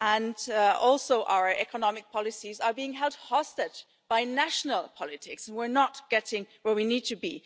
Also, our economic policies are being held hostage by national politics and we are not getting where we need to be.